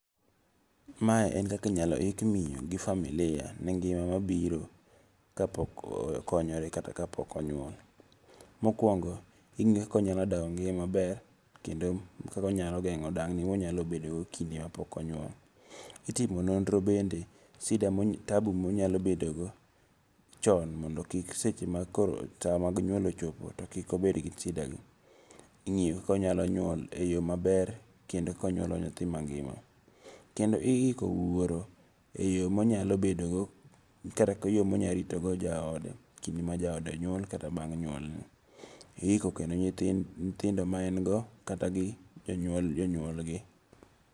Ma en kaka inyalo ik miyo gi familia ne ngima mabiro kapok okonyore kata kapok onyuol. Mokuongo ing'iyo kaka onyalo dago ngima maber kendo kaka onyalo geng'o dang ni monyalo bedogo kinde mapok onyuol. Itimo nonro bende shida tabu monyalo bedo go, chon mondo kik seche mag koro saa mag nyuol ochopo to kik obed gi shida gi. Ing'iyo ka onyalo nyuol eyo maber kendo konyalo nyuolo nyathi mangima. Kendo iiko wuoro eyo monyalo bedo go kata rito go jaode, kinde ma jaode nyuol kata bang' nyuolne. Iiko kendo nyithindo ma en go kata gi jonyuol jonyuolgi.